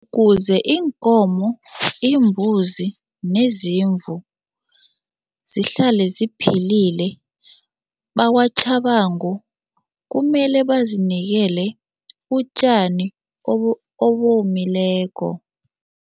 Kuze iinkomo, imbuzi nezimvu zihlale ziphilile, bakwaTjhabangu kumele bazinikele utjani obomileko.